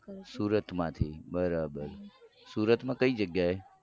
છું સુરતમાંથી બરાબર સુરતમાં કઈ જગ્યાએ.